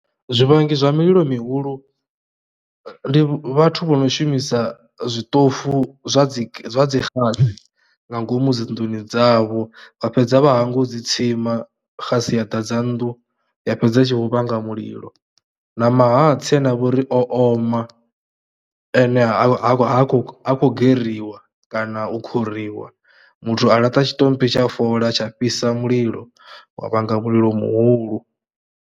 Zwivhangi zwa mililo mihulu ndi vhathu vho no shumisa zwiṱofu zwa dzi xasi nga ngomu dzinḓuni dzavho vha fhedza vha hangwa u dzi tsima xasi ya ḓadza nnḓu ya fhedza i tshi vho vhanga mulilo. Na mahatsi ane a vha uri o oma ane ha kho ha khou geririwa kana u khuriwa, muthu a laṱa tshiṱomphi tsha fola tsha fhisa mulilo wa vhanga mulilo muhulu.